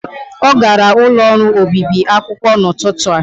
Ọ gara n'ụlọ ọrụ obibi akwụkwọ n'ụtụtụ a.